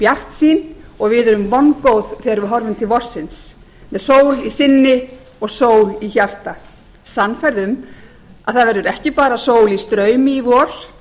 bjartsýn og við erum vongóð þegar við horfum til vorsins með sól í sinni og sól í hjarta sannfærð um að það verður ekki bara sól í straumi í vor